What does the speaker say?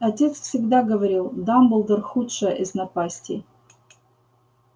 отец всегда говорил дамблдор худшая из напастей